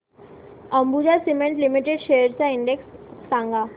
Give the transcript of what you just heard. Ambuja cement limited shares चा index सांगा